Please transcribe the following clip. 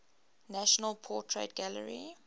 national portrait gallery